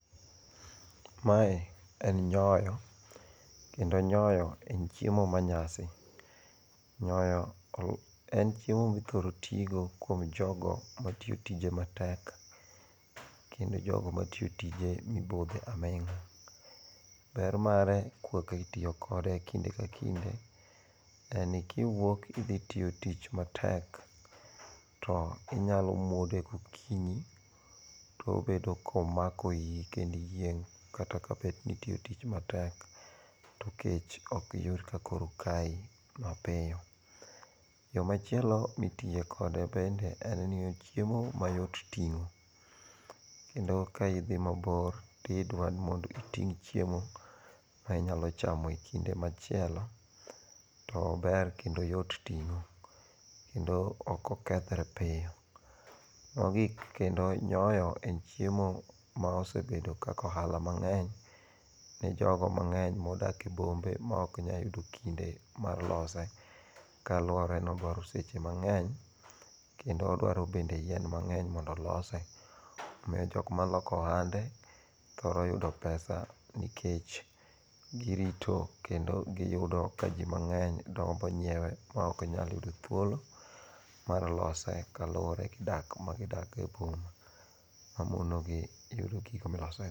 Mae en nyoyo. Kendo nyoyo en chiemo manyasi. Nyoyo en chiemo mithoro tigo kuom jogo matiyo tije matek kendo jogo matiyo tije mibudhe aming'a. Ber mare kwaka itiyo kode kinde ka kinde, en kiwuok idhi tiyo tich matek, to inyalo mwode gokinyi tobedo komako iyi kendiyieng' kata bed ni itiyo tich matek to kech ok iyud ka koro kayi mapiyo. Yo machielo mitiye kode bende en ni ochiemo mayot ting'o, kendo ka idhi mabor to idwa ni mondo iting' chiemo ma inyalo chamo e kinde machielo, to ober kendo oyot ting'o, kendo ok okethre piyo. Mogik kendo nyoyo en chiemo ma osebedo kaka ohala mang'eny ne jogo mang'eny modak e bombe maok nya yudo kinde mar lose ka luwore ni odwaro seche mang'eny, kendo odwaro bende yien mang'eny mondo olose. Omiyo jokma loko ohande, thoro yudo pesa nikech girito kendo giyudo ka ji mang'eny gombo nyiewe ma ok nyal yudo thuolo mar lose kaluwore gi dak magidak e boma. Mamonogi yudo gik milosego.